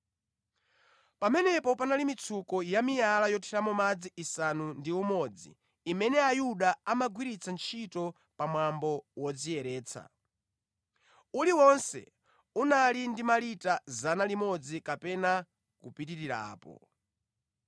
Pamenepo panali mitsuko yamiyala yothiramo madzi isanu ndi umodzi, imene Ayuda amagwiritsa ntchito pa mwambo wodziyeretsa. Uliwonse unali ndi malita 100 kapena kupitirirapo.